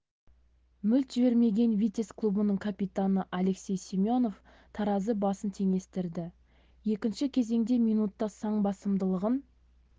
мүлт жібермеген витязь клубының капитаны алексей семенов таразы басын теңестірді екінші кезеңде минутта сан басымдылығын